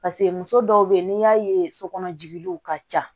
Paseke muso dɔw be yen n'i y'a ye sokɔnɔ jigiliw ka ca